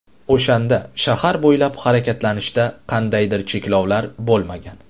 O‘shanda shahar bo‘ylab harakatlanishda qandaydir cheklovlar bo‘lmagan.